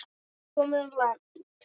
Komin í land.